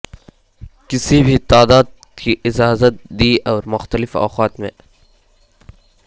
کسی بھی تعداد کی اجازت دی اور مختلف اوقات میں